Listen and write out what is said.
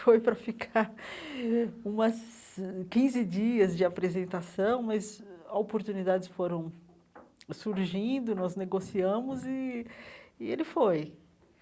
Foi para ficar umas quinze dias de apresentação, mas ah oportunidades foram surgindo, nós negociamos e e ele foi.